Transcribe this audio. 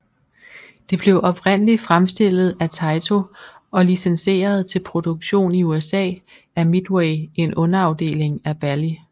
Det blev oprindeligt fremstillet af Taito og licenseret til produktion i USA af Midway en underafdeling af Bally